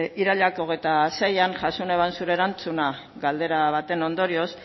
iraila hogeita seian jaso neban zure erantzuna galdera baten ondorioz